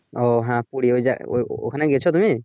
ওহ হ্যাঁ পুড়ি ওই যে ওই হ্যা ওখানে গিয়েছো তুমি